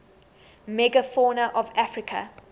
megafauna of africa